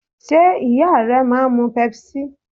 Ṣé ìyá rẹ máa ń mu Pepsi?